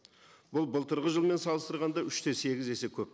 бұл былтырғы жылмен салыстырғанда үш те сегіз есе көп